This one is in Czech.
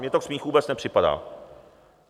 Mně to k smíchu vůbec nepřipadá.